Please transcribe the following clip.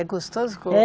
É gostoso?